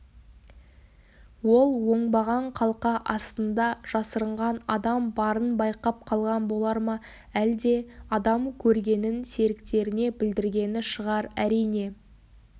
ол оңбаған қалқа астында жасырынған адам барын байқап қалған болар ма әлде адам көргенін серіктеріне білдіргені шығар әрине